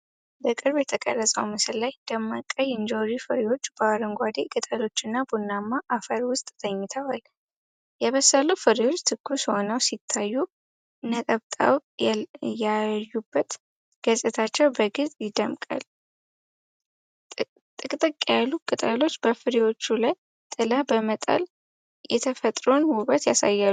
በቅርብ የተቀረጸው ምስል ላይ ደማቅ ቀይ እንጆሪ ፍሬዎች በአረንጓዴ ቅጠሎችና ቡናማ አፈር ውስጥ ተኝተዋል። የበሰሉ ፍሬዎች ትኩስ ሆነው ሲታዩ፣ ነጠብጣብ ያዩበት ገጽታቸው በግልጽ ይደምቃል። ጥቅጥቅ ያሉት ቅጠሎች በፍሬዎቹ ላይ ጥላ በመጣል የተፈጥሮን ውበት ያሳያሉ።